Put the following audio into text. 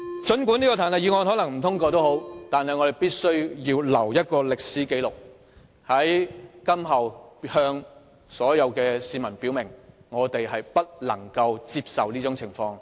儘管彈劾議案可能不獲通過，但我們必須留下一個歷史紀錄，在日後向市民表明，我們絕不接受這種做法。